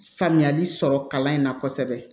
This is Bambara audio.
Faamuyali sɔrɔ kalan in na kosɛbɛ